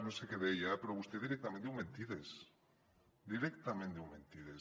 no sé què deia eh però vostè directament diu mentides directament diu mentides